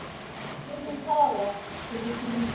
Ég mun tala.